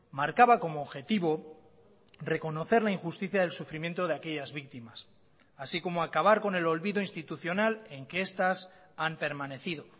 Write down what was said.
marcaba como objetivo reconocer la injusticia del sufrimiento de aquellas víctimas así como acabar con el olvido institucional en que estas han permanecido